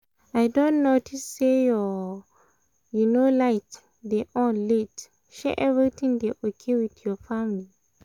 i don notice say your um um light dey on late — shey everything dey okay with your family?